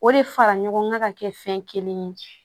O de fara ɲɔgɔn kan ka kɛ fɛn kelen ye